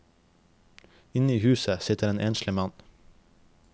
Inne i huset sitter en enslig mann.